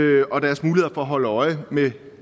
og at holde øje med